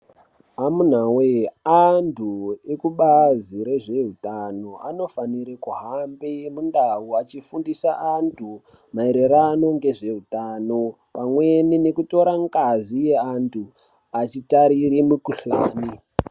Amuna we antu ekubazi rezvehutano anofanira kuhamba mundau achifundira antu maererano nezvehutano pamweni nekutora ngazi yevantu achitarira mikuhlani.